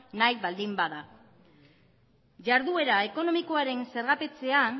nahi baldin bada jarduera ekonomikoaren zergapetzean